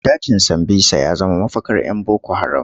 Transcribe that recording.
Dajin Sambisa ya zama mafakar 'yan boko haram.